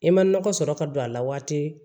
I ma nɔgɔ sɔrɔ ka don a la waati